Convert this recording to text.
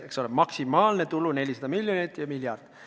Eks ole, maksimaalne tulu 400 miljonit ja miljard.